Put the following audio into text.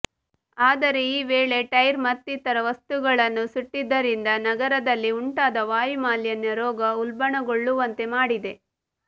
ಆದರೆ ಈ ವೇಳೆ ಟೈರ್ ಮತ್ತಿತರ ವಸ್ತುಗಳನ್ನು ಸುಟ್ಟಿದ್ದರಿಂದ ನಗರದಲ್ಲಿ ಉಂಟಾದ ವಾಯುಮಾಲಿನ್ಯ ರೋಗ ಉಲ್ಭಣಗೊಳ್ಳುವಂತೆ ಮಾಡಿದೆ